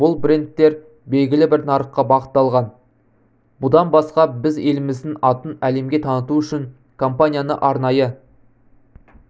бұл брендтер белгілі бір нарыққа бағытталған бұдан басқа біз еліміздің атын әлемге таныту үшін компанияны арнайы